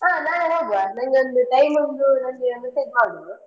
ಹಾ ನಾಳೆ ನಂಗೊಂದು time ಒಂದು ನಂಗೆ message ಮಾಡು.